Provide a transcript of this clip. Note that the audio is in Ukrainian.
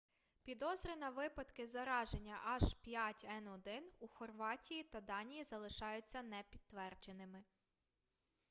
підозри на випадки зараження h5n1 у хорватії та данії залишаються непідтвердженими